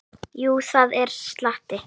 Jú, það er slatti.